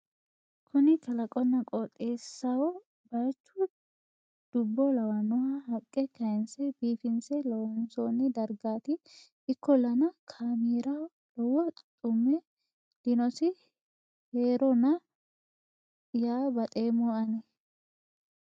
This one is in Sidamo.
kuni kalaqonna qooxeessaho baychu dubbo lawanno haqqe kayinse biifinse loonsonni dargaati ikkollana kaameeraho lowo xummme dinosi heerona yaa baxeemmo ani